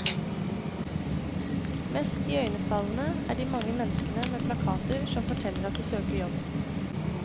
Mest iøynefallende er de mange menneskene med plakater som forteller at de søker jobb.